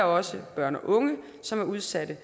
også børn og unge som er udsatte